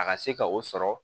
A ka se ka o sɔrɔ